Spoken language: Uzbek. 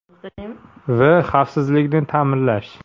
V. Xavfsizlikni ta’minlash.